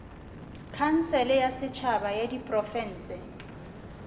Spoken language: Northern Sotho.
khansele ya setšhaba ya diprofense